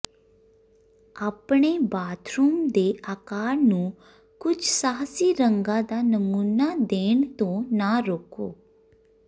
ਆਪਣੇ ਬਾਥਰੂਮ ਦੇ ਆਕਾਰ ਨੂੰ ਕੁਝ ਸਾਹਸੀ ਰੰਗਾਂ ਦਾ ਨਮੂਨਾ ਦੇਣ ਤੋਂ ਨਾ ਰੋਕੋ